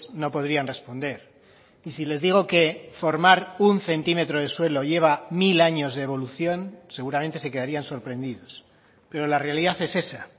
no podrían responder y si les digo que formar un centímetro de suelo lleva mil años de evolución seguramente se quedarían sorprendidos pero la realidad es esa